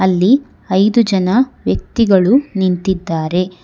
ಅಲ್ಲಿ ಐದು ಜನ ವ್ಯಕ್ತಿಗಳು ನಿಂತಿದ್ದಾರೆ.